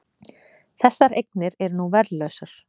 Þessar eignir eru nú verðlausar